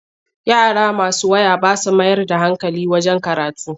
Yara masu waya ba sa mayar da hankali wajen karatu.